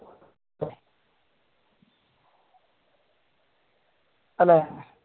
അല്ലേ